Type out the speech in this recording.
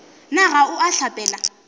na ga o a hlapela